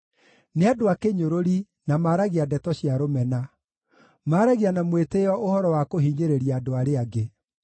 Nĩ andũ a kĩnyũrũri, na maaragia ndeto cia rũmena; maaragia na mwĩtĩĩo ũhoro wa kũhinyĩrĩria andũ arĩa angĩ.